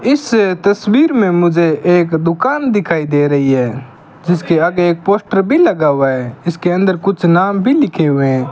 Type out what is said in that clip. इस तस्वीर में मुझे एक दुकान दिखाई दे रही है जिसके आगे एक पोस्टर भी लगा हुआ है इसके अंदर कुछ नाम भी लिखे हुए हैं।